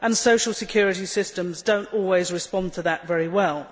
Social security systems do not always respond to that very well.